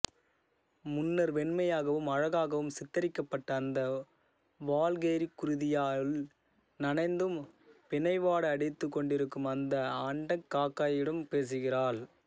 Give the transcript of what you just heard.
முன்னர் வெண்மையாகவும் அழகாகவும் சித்தரிக்கப்பட்ட அந்த வால்கெய்ரிகுருதியால் நனைந்தும் பிண வாடை அடித்துக்கொண்டிருக்கும் அந்த அண்டங்காக்கையிடம் பேசுகிறாள்